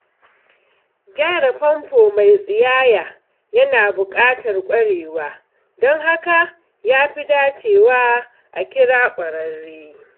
Gyara famfo mai tsiyaya yana buƙatar ƙwarewa, don haka ya fi dacewa a kira ƙwararre.